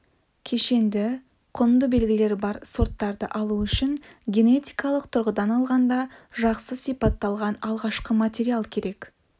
кешенді құнды белгілері бар сорттарды алу үшін генетикалық тұрғыдан алғанда жақсы сипатталған алғашқы материал керек